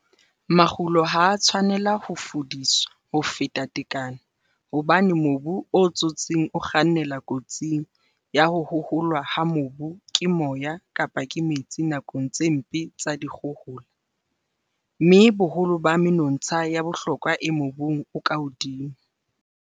Makgulo ha a tshwanela ho fudiswa ho feta tekano hobane mobu o tsotseng o kgannela kotsing ya ho hoholwa ha mobu ke moya kapa ke metsi nakong tse mpe tsa dikgohola, mme boholo ba menontsha ya bohlokwa e mobung o ka hodimo.